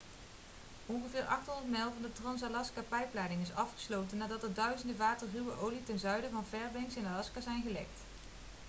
ongeveer 800 mijl van de trans-alaska-pijpleiding is afgesloten nadat er duizenden vaten ruwe olie ten zuiden van fairbanks in alaska zijn gelekt